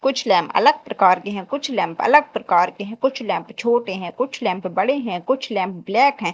कुछ लैंप अलग प्रकार के हैं कुछ लैंप अलग प्रकार के हैं कुछ लैंप छोटे हैं कुछ लैंप बड़े हैं कुछ लैंप ब्लैक हैं।